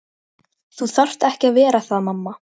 Þau leggjast á hnén og lyfta upp lokinu.